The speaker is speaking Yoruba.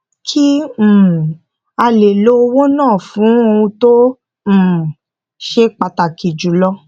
kí um a lè lo owó náà fún ohun tó um ṣe pàtàkì jùlọ